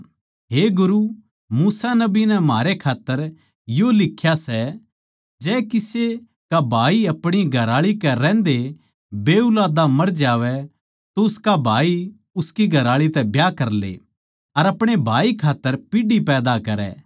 हे गुरू मूसा नबी नै म्हारै खात्तर यो लिख्या सै जै किसे का भाई अपणी घरआळी कै रहन्दे बेऊलादा मर जावै तो उसका भाई उसकी घरआळी तै ब्याह करले अर अपणे भाई कै खात्तर पीढ़ी पैदा करै